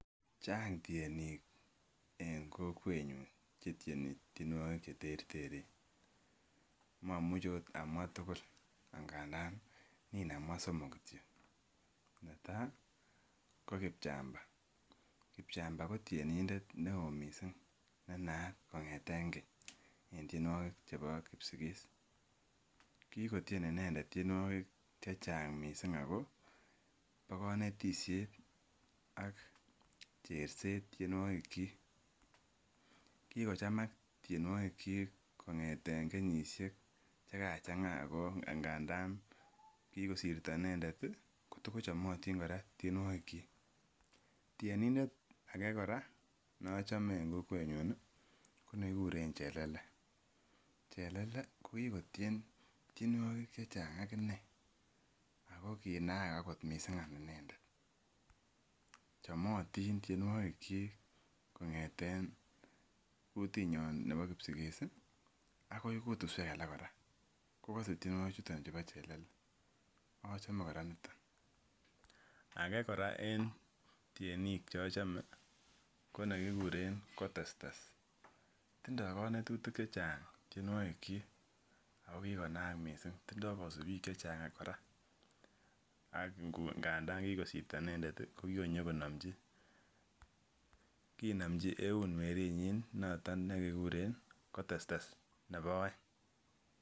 Chang tienik en kokwetnyun chetieni tienwogik cheterteren ak ngandan nin amwaa somok kityok, netaa ko Kipchamba , Kipchamba ko tienindet neoo missing nenaat kong'eten keny en tienwogik chebo kipsigis, kikotien inendet tienwogik chechang kot missing ako bo konetisiet ak cherset tienwogik kyik. Kikochamak tienwogik kyik kong'eten kenyisiek chekachang'a ak ngandan kikosirto inendet ih kotochomotin kora tienwogik kyik. Tienindet ake kora nochome en kokwetnyun ih ko nekikuren Chelele, Chelele ko kikotien tienwogik chechang akinee ako kinaak kot missing inendet, chomotin tienwogik kyik kong'eten kutinyon nebo kipsigis ih akoi kutusuek alak kora kokose tienwogik chuton chebo Chelele achome kora niton. Ake kora en tienik chochome ko nekikuren Kotestes, tindoo konetutik chechang tienwogik kyik ako kikonaak missing. Tindoo kosubiik chechang kora ak ngandan kikosirto inendet ih ko kikonyokonomji eun kinomji eun weritnyin noton nekekuren Kotestes nebo oeng.